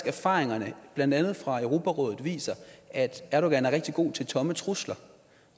erfaringerne blandt andet fra europarådet viser at erdogan er rigtig god til tomme trusler